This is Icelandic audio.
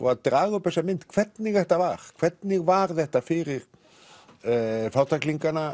að draga upp þessa mynd hvernig þetta var hvernig var þetta fyrir